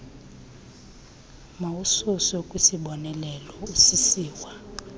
mawususwe kwisiboneleelo usisiwa